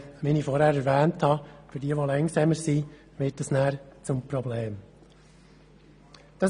Wie ich zuvor erwähnt habe, wird das zum Problem für diejenigen, die langsamer sind.